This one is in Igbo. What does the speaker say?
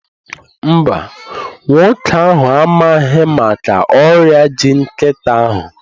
Mba, nwoke ahụ amaghị maka ọrịa ji nkịtị ahụ